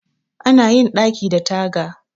Ana yin ɗaki da taga